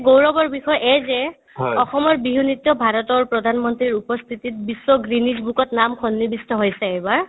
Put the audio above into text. গৌৰৱৰ বিষয় এই যে অসমৰ বিহু নৃত্য ভাৰতৰ প্ৰধান মন্ত্ৰীৰ উপস্থিতিত বিশ্ব guinness book ত সন্নিবিষ্ট হৈছে এইবাৰ